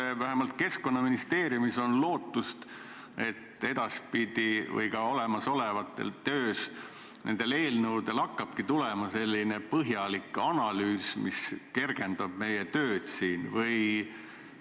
Või kas vähemalt Keskkonnaministeeriumi puhul on lootust, et edaspidi hakkabki eelnõudega kaasas käima selline põhjalik analüüs, mis meie tööd siin kergendab?